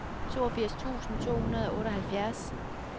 toogfirs tusind to hundrede og otteoghalvfjerds